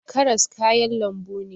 Karas kayan lambu ne